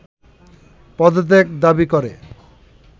পদত্যাগ দাবি করে